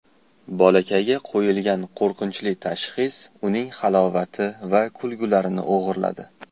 Bolakayga qo‘yilgan qo‘rqinchli tashxis uning halovati va kulgularini o‘g‘irladi.